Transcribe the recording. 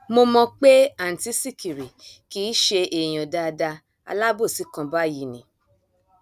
mo mọ pé àǹtí sìkìrì kì í ṣe èèyàn dáadáa alábòòsí kan báyìí ni